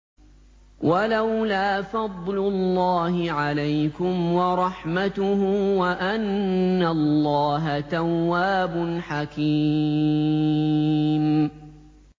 وَلَوْلَا فَضْلُ اللَّهِ عَلَيْكُمْ وَرَحْمَتُهُ وَأَنَّ اللَّهَ تَوَّابٌ حَكِيمٌ